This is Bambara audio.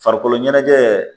Farikolo ɲɛnajɛ